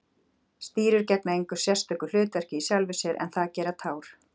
Stírur gegna engu sérstöku hlutverki í sjálfu sér en það gera tár.